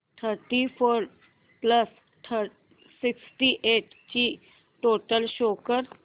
thirty four plus sixty eight ची total show कर